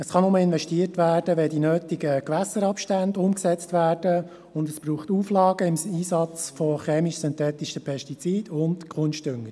Es kann nur investiert werden, wenn die nötigen Gewässerabstände umgesetzt werden, und es braucht Auflagen zum Einsatz von chemisch-synthetischen Pestiziden und Kunstdüngern.